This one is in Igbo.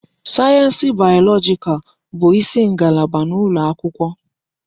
Sayensị bayọlọjikal bụ isi ngalaba n'ụlọ akwụkwọ.